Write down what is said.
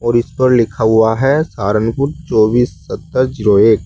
और इस पर लिखा हुआ है सहारनपुर चौबीस सत्तर जीरो एक।